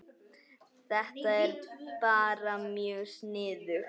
Þetta er bara mjög sniðugt